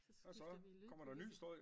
Så skifter vi lydkulisse